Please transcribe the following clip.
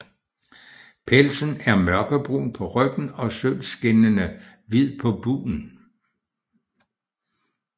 Pelsen er mørkebrun på ryggen og sølvskinnende hvid på bugen